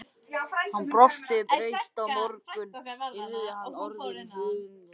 Hann brosti breitt: Á morgun yrði hann orðinn hundeigandi!